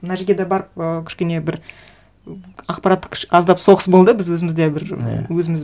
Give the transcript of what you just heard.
мына жерге де барып ы кішкене бір ақпараттық аздап соғыс болды біз өзімізде бір өзіміз